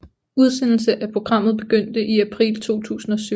Udsendelse af programmet begyndte i april 2007